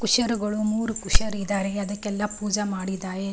ಕುಶರುಗಳು ಮೂರು ಕುಶರುಗಳು ಇದ್ದಾರೆ ಅದಕ್ಕೆಲ್ಲ ಪೂಜೆ ಮಾಡಿದ್ದಾರೆ --